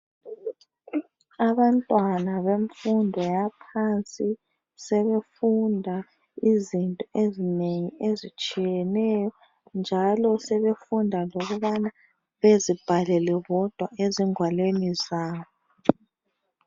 Abantwana benfundo yaphansi ,sebefunda izinto ezinengi ezitshiyeneyo .Njalo sebefunda lokubana bezibhalele bodwa ezingwalweni zabo.